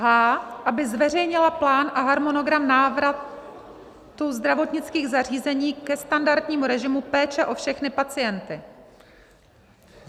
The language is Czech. h) aby zveřejnila plán a harmonogram návratu zdravotnických zařízení ke standardnímu režimu péče o všechny pacienty.